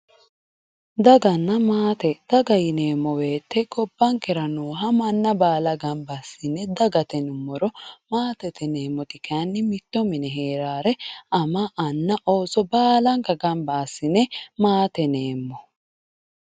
daganna maate, daga yineemmo woyte gobbankera nooha manna baala mnna baala gamba assi'ne dagate yinummoro, maatete yineemmoti kayiinni mitto mine hee'raare ama anna Ooso baalanka gamba assi'ne maate yineemmo.